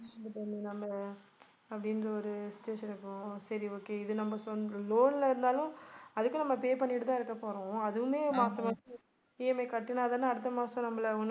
அப்படின்ற ஒரு situation இருக்கும் சரி okay இது நம்ம சொந்த~ loan ல இருந்தாலும் அதுக்கும் நம்ம pay பண்ணிட்டு தான் இருக்கப்போறோம் அதுவுமே மாச மாசம் EMI கட்டினா தானே அடுத்த மாசம் நம்மளை ஒண்ணும்